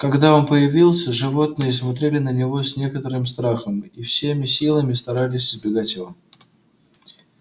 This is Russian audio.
когда он появился животные смотрели на него с некоторым страхом и всеми силами старались избегать его